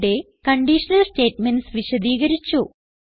ഇവിടെ conditional statements വിശദീകരിച്ചു